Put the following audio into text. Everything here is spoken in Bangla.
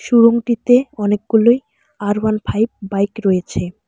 শোরুমটিতে অনেকগুলোই আর ওয়ান ফাইভ বাইক রয়েছে।